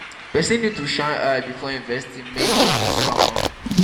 person need to shine eye before investing make dem no scam am